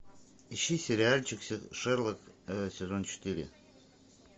ищи сериальчик шерлок сезон четыре